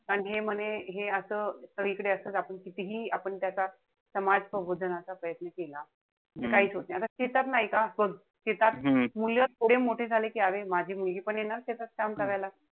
पण हे म्हणे हे असं सगळीकडे असच आपण कितीहि आपण त्याचा समाज प्रबोधनाचा प्रयत्न केला. त काहीच होत नाही. आता नाही का, मुलं थोडे मोठे झाले कि अरे माझी मुलगी पण येणार शेतात काम करायला.